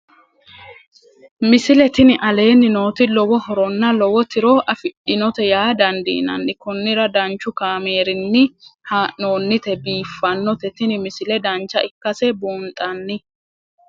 misile tini aleenni nooti lowo horonna lowo tiro afidhinote yaa dandiinanni konnira danchu kaameerinni haa'noonnite biiffannote tini misile dancha ikkase buunxanni